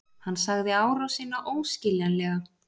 Hann sagði árásina óskiljanlega